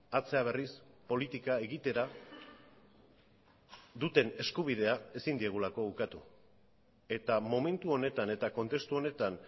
atzera berriz politika egitera duten eskubidea ezin diegulako ukatu eta momentu honetan eta kontestu honetan